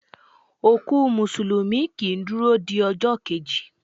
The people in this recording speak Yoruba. Òkú músùlùmí kii duro di ọjọ́ keji